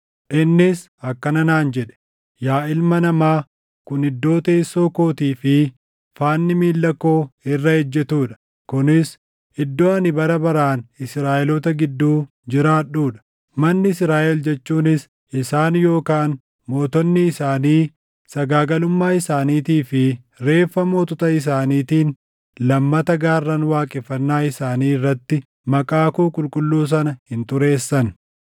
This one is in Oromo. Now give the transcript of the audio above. Innis akkana naan jedhe: “Yaa ilma namaa, kun iddoo teessoo kootii fi faanni miilla koo irra ejjetuu dha. Kunis iddoo ani bara baraan Israaʼeloota gidduu jiraadhuu dha. Manni Israaʼel jechuunis isaan yookaan mootonni isaanii sagaagalummaa isaaniitii fi reeffa mootota isaaniitiin lammata gaarran waaqeffannaa isaanii irratti maqaa koo qulqulluu sana hin xureessan.